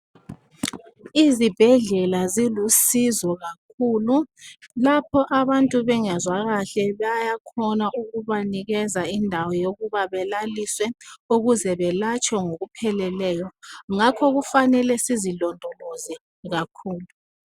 Izibhedlela zilusizo kakhulu, lapho abantu bengezwa kahle bayakhona ukuba nikeza indawo yokubana balalise ukuze belatshwe ngokupheleleyo ngakho kufanele bezilomdoloze kakhulu